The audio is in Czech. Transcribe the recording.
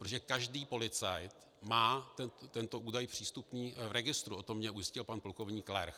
Protože každý policajt má tento údaj přístupný v registru, o tom mě ujistil pan plukovník Lerch.